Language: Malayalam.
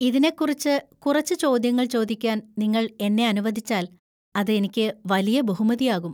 ഇതിനെക്കുറിച്ച് കുറച്ച് ചോദ്യങ്ങൾ ചോദിക്കാൻ നിങ്ങൾ എന്നെ അനുവദിച്ചാൽ അത് എനിക്ക് വലിയ ബഹുമതിയാകും.